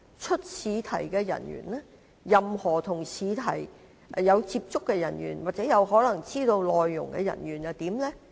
出試題的人員、任何與試題有接觸的人員或有可能知道試題內容的人員又應如何規管？